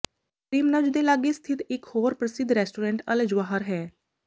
ਕਰੀਮਨਜ ਦੇ ਲਾਗੇ ਸਥਿਤ ਇਕ ਹੋਰ ਪ੍ਰਸਿੱਧ ਰੈਸਟੋਰੈਂਟ ਅਲ ਜਵਾਹਰ ਹੈ